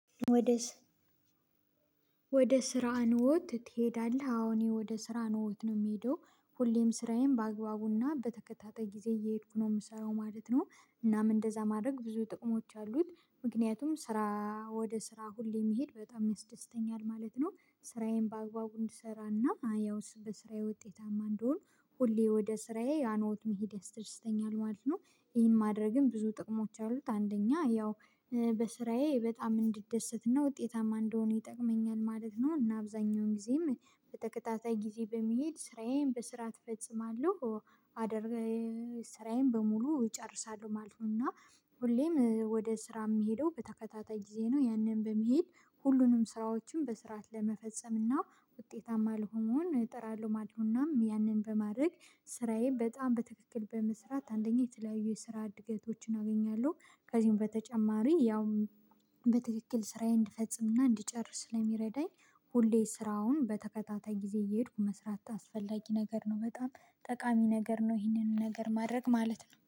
ወደ ስራ ኖት ትሄዳለህ? አዎ ወደ ስራ ኖት ነው እምሄደው ሁሌም ስራዬን በአግባቡና በተከታታይ ጊዜ እየሄድኩ ነው እምሰራው ማለት ነው። እናም እንደዛ ማድረግ ብዙ ጥቅሞች አሉት ምክንያቱም ስራ ወደ ስራ ሁሌ መሄድ በጣም ያስደስተኛል ማለት ነው። ስራዬን በአግባቡ እንድሰራና ያው በስራዬ ውጤታማ እንድሆን ሁሌ ወደ ስራዬ ያኖት መሄድ ያስደስተኛል ማለት ነው። ይሄን ማድረግም ብዙ ጥቅሞች አሉት አንደኛ ያው። በስራዬ በጣም እንዲደሰትና ውጤታማ እንደሆን ይጠቅመኛል ማለት ነው እና አብዛኛውን ጊዜም በተከታታይ ጊዜ በመሄድ ስራዬን በስርዓት እፈጽማለሁ። ስራዬን በሙሉ እጨርሳለሁ ማለት ነው። እና ሁሌም ወደ ስራ የሚሄደው በተከታታይ ጊዜ ነው ያንን በመሄድ ሁሉንም ስራዎችን በስርዓት ለመፈጸም እና ውጤታማ ለመሆን እጠራለሁ ማለት ነው። እናም ያንን በማድረግ ስራዬ በጣም በትክክል በመስራት አንደኛ የተለያዩ የስራ ዕድገቶችን አገኛለሁ። ከዚህም በተጨማሪ ያውም በትክክል ስራዬን እንድፈጽምና እንድጨርስ ስለሚረዳኝ። ሁሌ ስራውን በተከታታይ ጊዜ እየሄድኩ መስራት አስፈላጊ ነገር ነው። በጣም ጠቃሚ ነገር ነው። ይህንን ነገር ማድረግ ማለት ነው